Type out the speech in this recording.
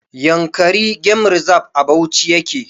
Yankari game reserve' a Bauchi yake